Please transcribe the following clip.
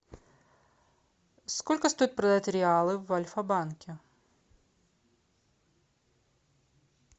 сколько стоит продать реалы в альфа банке